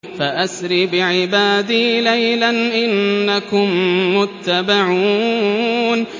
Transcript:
فَأَسْرِ بِعِبَادِي لَيْلًا إِنَّكُم مُّتَّبَعُونَ